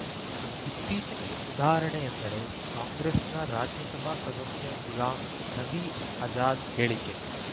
ಇತ್ತೀಚಿನ ಉದಾಹರಣೆಯೆಂದರೆ ಕಾಂಗ್ರೆಸ್‌ನ ರಾಜ್ಯಸಭಾ ಸದಸ್ಯ ಗುಲಾಂ ನಬಿ ಆಜಾದ್‌ ಹೇಳಿಕೆ